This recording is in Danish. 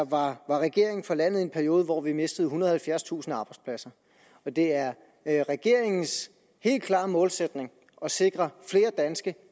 var regering for landet i en periode hvor vi mistede ethundrede og halvfjerdstusind arbejdspladser det er er regeringens helt klare målsætning at sikre flere danske